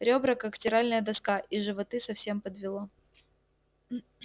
ребра как стиральная доска и животы совсем подвело